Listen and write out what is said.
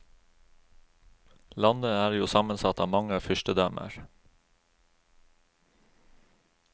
Landet er jo sammensatt av mange fyrstedømmer.